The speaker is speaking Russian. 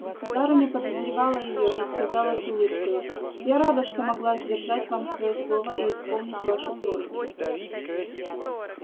государыня подозревала её и сказала с улыбкою я рада что могла сдержать вам своё слово и исполнить вашу просьбу